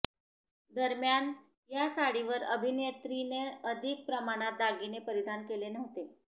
दरम्यान या साडीवर अभिनेत्रीनं अधिक प्रमाणात दागिने परिधान केले नव्हते